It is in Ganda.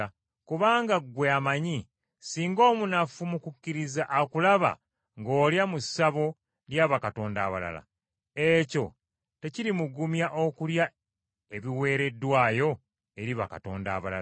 Kubanga ggwe amanyi, singa omunafu mu kukkiriza akulaba ng’olya mu ssabo lya bakatonda abalala, ekyo tekirimugumya okulya ebiweereddwayo eri bakatonda abalala.